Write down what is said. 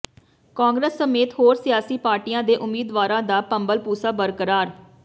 ਕਾਂਗਰਸ ਸਮੇਤ ਹੋਰ ਸਿਆਸੀ ਪਾਰਟੀਆਂ ਦੇ ਉਮੀਦਵਾਰਾਂ ਦਾ ਭੰਬਲਭੂਸਾ ਬਰਕਰਾਰ